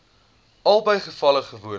albei gevalle gewoonlik